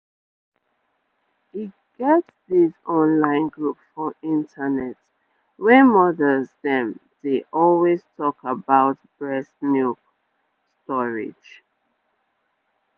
e get this online group for internet wey mothers dem dey always talk about breast milkstorage.